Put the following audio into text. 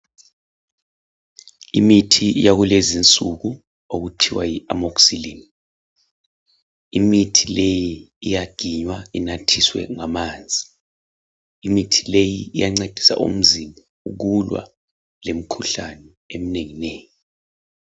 Imithi yakulezisuku okuthiwa yi Amoxicillin . Imithi leyi iyaginywa inathiswe ngamanzi . Imithi leyi iyancedisa umzimba ukulwa lemikhuhlane eminenginengi.